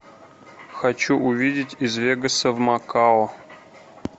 хочу увидеть из вегаса в макао